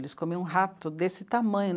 Eles comiam rato desse tamanho.